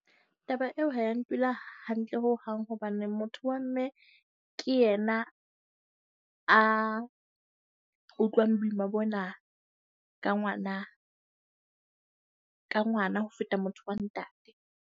Taba eo ha e ya ntula hantle hohang, hobane motho wa mme ke yena a utlwang boima bona ka ngwana ka ngwana, ho feta motho wa ntate.